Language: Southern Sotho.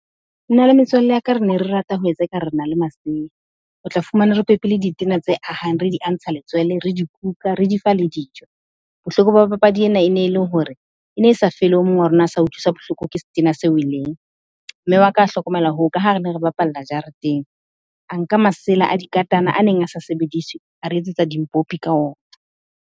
Nna le metswalle ya ka re ne re rata ho etsa ekare re na le maseya. O tla fumana re pepile ditena tse ahang re di antsha letswele, re di kuka, re di fa le dijo. Bohloko ba papadi ena e ne e le hore e ne sa fele o mong wa rona a sa utlwiswa bohloko ke setena se weleng. Mme wa ka a hlokomela ho ka ha re ne re bapalla jareteng, a nka masela a dikatana a neng a sa sebediswe, a re etsetsa dimpopi ka wona.